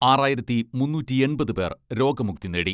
ആറായിരത്തി മുന്നൂറ്റിയെൺപത് പേർ രോഗമുക്തി നേടി.